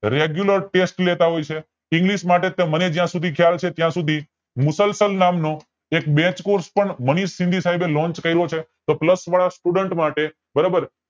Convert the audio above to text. regular test લેતા હોય છે english માટે તે મને જ્યાં સુધી ખ્યાલ છે ત્યાં સુધી મુસલસલ નામ નો એક batch course મનીષ સાઈબે lonch કર્યો છે તો plus વાળા student માટે બરોબર